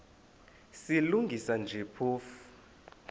silungisa nje phofu